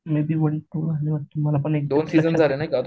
may be one two मला exact पण आठवत नाही